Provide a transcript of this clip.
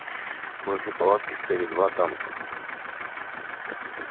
возле палатки стояли два танка